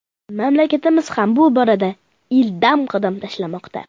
Mamlakatimiz ham bu borada ildam qadam tashlamoqda.